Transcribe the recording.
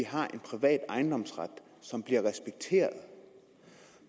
har en privat ejendomsret som bliver respekteret